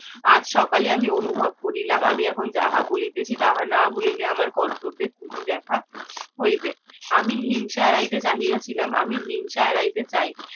আজ সকালে আমি অনুভব করিলাম আমি এখন যাহা বলিতেছি তাহা না বলিলে আমার কর্তব্যে ত্রুটি দেখা হইবে আমি হিংসা বাড়িতে চাহিয়ে ছিলাম আমি হিংসা আড়াইটে চাই